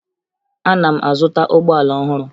Ana m azụta ụgbọala ọhụrụ